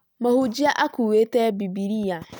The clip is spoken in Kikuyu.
Mũhunjia akuũete Bibilia